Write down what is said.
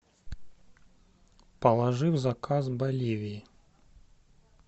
положи в заказ боливии